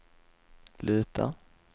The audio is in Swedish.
luta